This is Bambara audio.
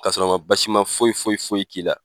Ka sɔrɔ a man basima foyi foyi foyi k'i la